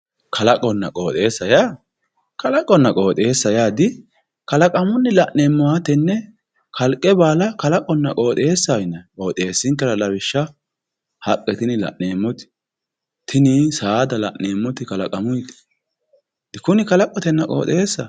kalaqonna qooxeessa yaa kalaqonna qooxeessa yaa dikalaqamunni la'neemmoha tenne kalqe baala kalaqonna qooxeessaho yinanni qooxeessinkera lawishshaho haqqe tini la'neemmoti tini saada la'neemmoti kalaqamunniti dikunni kalaqotenna qooxeessaho.